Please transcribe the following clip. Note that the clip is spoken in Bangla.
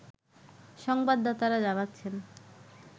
সংবাদাতারা জানাচ্ছেন